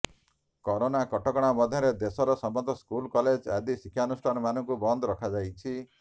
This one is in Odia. କରୋନା କଟକଣା ମଧ୍ୟରେ ଦେଶର ସମସ୍ତ ସ୍କୁଲ କଲେଜ ଆଦି ଶିକ୍ଷାନୁଷ୍ଠାନମାନଙ୍କୁ ବନ୍ଦ ରଖାଯାଇଛି